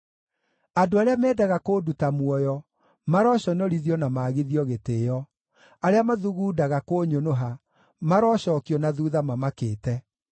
Andũ arĩa mendaga kũnduta muoyo maroconorithio na maagithio gĩtĩĩo, arĩa mathugundaga kũnyũnũha marocookio na thuutha mamakĩte.